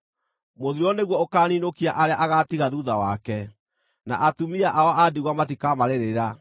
Mũthiro nĩguo ũkaaninũkia arĩa agaatiga thuutha wake, na atumia ao a ndigwa matikamarĩrĩra.